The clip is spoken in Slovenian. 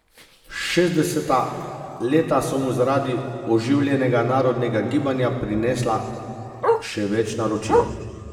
Šestdeseta leta so mu zaradi oživljenega narodnega gibanja prinesla še več naročil.